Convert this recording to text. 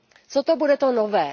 Co to bude to nové?